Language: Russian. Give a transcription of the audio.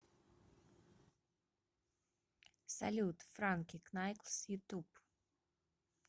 салют франки кнайкс ютуб